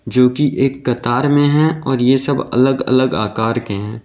जो कि एक कतार में है और ये सब अलग अलग आकार के हैं।